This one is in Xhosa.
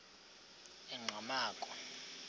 enqgamakhwe